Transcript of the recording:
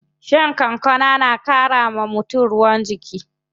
Shan kankana na ƙara wa mutum ruwa a jiki.